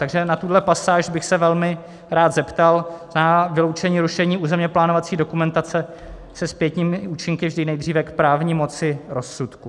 Takže na tuhle pasáž bych se velmi rád zeptal, na vyloučení rušení územně plánovací dokumentace se zpětnými účinky vždy nejdříve k právní moci rozsudku.